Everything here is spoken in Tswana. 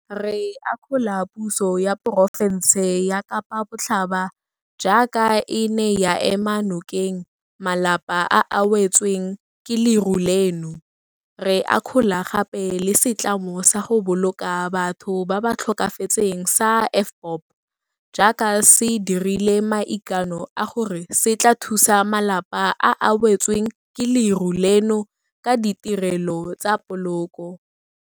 Re akgola puso ya porofense ya Kapa Botlhaba jaaka e ne ya ema nokeng malapa a a wetsweng ke leru leno, re akgola gape le setlamo sa go boloka batho ba ba tlhokafetseng sa AVBOB jaaka se dirile maikano a gore se tla thusa malapa a a wetsweng ke leru leno ka ditirelo tsa poloko.